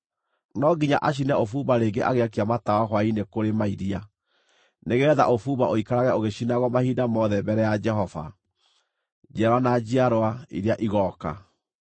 No nginya acine ũbumba rĩngĩ agĩakia matawa hwaĩ-inĩ kũrĩ mairia, nĩgeetha ũbumba ũikarage ũgĩcinagwo mahinda mothe mbere ya Jehova, njiarwa na njiarwa iria igooka.